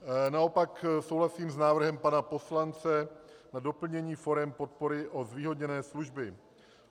Naopak souhlasím s návrhem pana poslance na doplnění forem podpory o zvýhodněné služby.